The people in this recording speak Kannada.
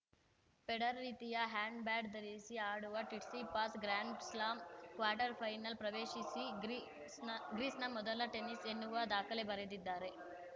ಫೆಡರರ್‌ ರೀತಿ ಹೆಡ್‌ಬ್ಯಾಂಡ್‌ ಧರಿಸಿ ಆಡುವ ಟಿಟ್ಸಿಪಾಸ್‌ ಗ್ರ್ಯಾಂಡ್‌ಸ್ಲಾಂ ಕ್ವಾರ್ಟರ್‌ ಫೈನಲ್‌ ಪ್ರವೇಶಿಸಿ ಗ್ರೀಸ್‌ ಗ್ರೀಸ್‌ನ ಮೊದಲ ಟೆನಿಸ್ ಎನ್ನುವ ದಾಖಲೆ ಬರೆದಿದ್ದಾರೆ